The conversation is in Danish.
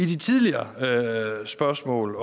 de tidligere spørgsmål